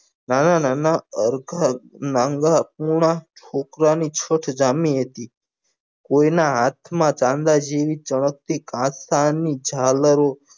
નાના નાના અર્ધક નાન્ગા પૂર્ણ સોઠીયા ની સોઠ જામી હતી કોઈના હાથમાં ચાંદા જેવી ચળકતી ઘાસલા ની જાલરો